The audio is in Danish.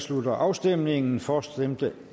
slutter afstemningen for stemte